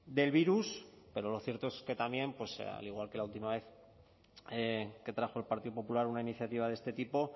del virus pero lo cierto es que también al igual que la última vez que trajo el partido popular una iniciativa de este tipo